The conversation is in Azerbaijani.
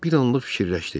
Bir anlıq fikirləşdi.